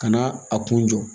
Ka na a kun jɔ